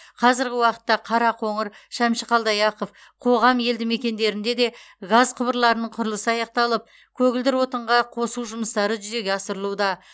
қазіргі уақытта қарақоңыр шәмші қалдаяқов қоғам елдімекендерінде де газ құбырларының құрылысы аяқталып көгілдір отынға қосу жұмыстары жүзеге асырылуда